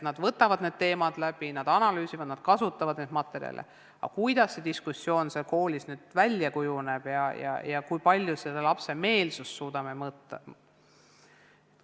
Nad võtavad teemad läbi, analüüsivad, kasutavad materjale jne, aga kuidas see diskussioon seal klassis välja kujuneb ja kui palju me suudame ühe või teise lapse meelsust mõõta, seda ma ei oska öelda.